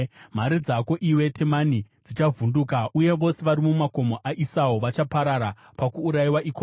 Mhare dzako, iwe Temani, dzichavhunduka, uye vose vari mumakomo aEsau vachaparara pakuurayiwa ikoko.